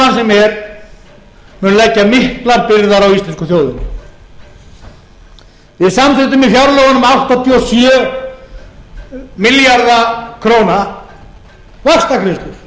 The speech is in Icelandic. sem er mun leggja miklar byrðar á íslensku þjóðina við samþykktum í fjárlögunum áttatíu og sjö milljarða króna vaxtagreiðslur einar